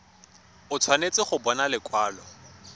o tshwanetse go bona lekwalo